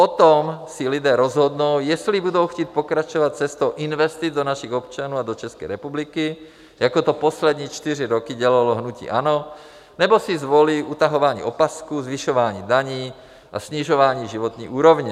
O tom si lidé rozhodnou, jestli budou chtít pokračovat cestou investic do našich občanů a do České republiky, jako to poslední čtyři roky dělalo hnutí ANO, nebo si zvolí utahování opasků, zvyšování daní a snižování životní úrovně.